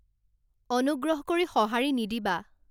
অনুগ্ৰহ কৰি সঁহাৰি নিদিবা